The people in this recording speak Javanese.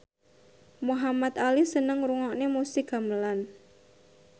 Muhamad Ali seneng ngrungokne musik gamelan